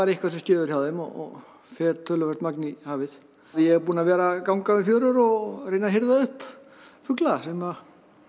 eitthvað sem skeður hjá þeim og fer töluvert magn í hafið ég er búinn að vera að ganga í fjörur og reyna að hirða upp fugla sem